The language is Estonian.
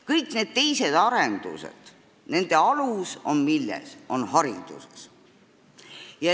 Kõikide teiste arenduste alus on hariduses.